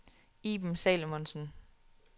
Iben Salomonsen